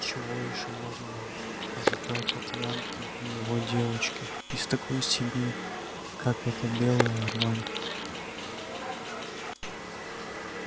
чего ещё можно ожидать от янки и его девчонки из такой семьи как эта белая рвань